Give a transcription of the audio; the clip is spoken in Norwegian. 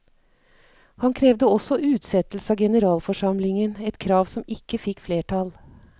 Han krevde også utsettelse av generalforsamlingen, et krav som ikke fikk flertall.